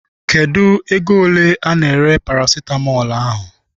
Kedụ ego ole ana-ere parasitamọl ahụ?